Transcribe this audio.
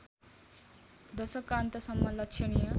दशकका अन्तसम्म लक्षणीय